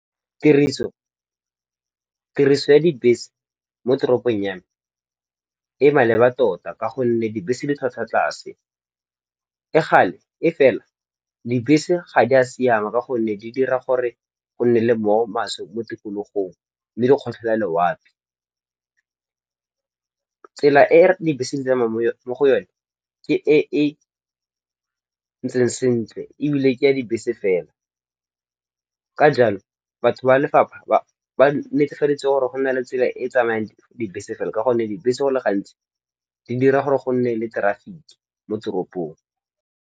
Tiriso ya dibese mo toropong ya me e maleba tota ka gonne dibese di tlhwatlhwa tlase. E fela dibese ga di a siama ka gonne di dira gore go nne le mowa o maswe mo tikologong le di kgotlhela lewape. Tsela e dibese di tsamayang mo go yone ke e e ntseng sentle ebile ke ya dibese fela. Ka jalo, batho ba lefapha ba netefaditse gore go na le tsela e e tsamayang dibese fela. Ka gonne dibese go le gantsi di dira gore go nne le traffic-e mo teropong.